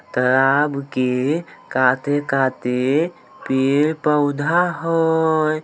तालाब के काते-काते पेड़-पौधा हेय।